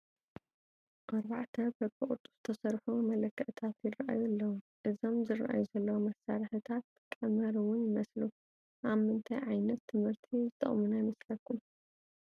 4 በቢ ቅርፂ ዝተሰርሑ መለክዕታት ይራኣዩ ኣለው፡፡ እዞም ዝራኣዩ ዘለው መሳርሕታት ቀመር ውን ይመስሉ፡፡ ኣብ ምንታይ ዓይነት ት/ቲ ዝጠቕሙና ይመስለኩም?